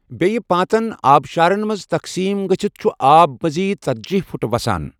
بیٛیہٕ پانٛژَن آبشارَن مَنٛز تَقسیٖم گٕژِھتھ چُھ آب مٕزیٖد ژَتجی فُٹ وَسان۔